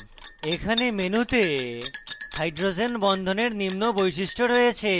এখানে মেনুতে hydrogen বন্ধনের নিম্ন বৈশিষ্ট্য রয়েছে: